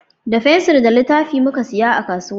Da fensir da littafi muka saya a kasuwa